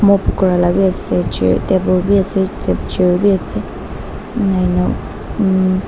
ase chair table bi ase ase enia uumm